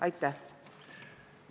Aitäh!